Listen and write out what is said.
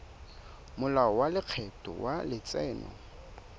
molao wa lekgetho wa letseno